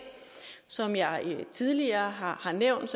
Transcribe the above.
som jeg tidligere har har nævnt